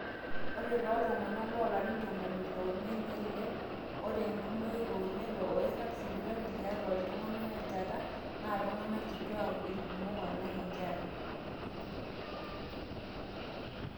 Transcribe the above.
ore tooltung'anak loolarin ntomoni ile oimiet neilep ore enkumoi oolelo ooirag sipitali tiatwa iltung'anak enjata naa iltung'anak kitwaak irkumok alang inkera